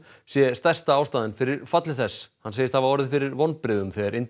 sé stærsta ástæðan fyrir falli þess hann segist hafa orðið fyrir vonbrigðum þegar